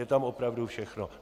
Je tam opravdu všechno.